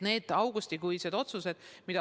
Need augustikuised otsused olid õiged.